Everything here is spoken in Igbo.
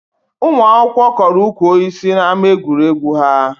Ụmụ akwụkwọ kọrọ ukwu osisi n'ama egwuregwu ha